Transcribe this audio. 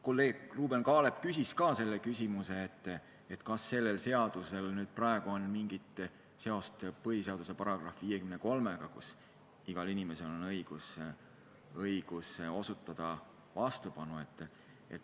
Kolleeg Ruuben Kaalep küsis ka küsimuse, kas sellel seaduseelnõul on mingit seost põhiseaduse §-ga 54, kus on öeldud, et igal inimesel on õigus osutada vastupanu.